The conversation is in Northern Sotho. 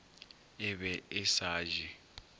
e be e sa je